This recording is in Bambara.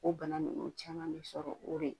O bana ninnu caman bɛ sɔrɔ o de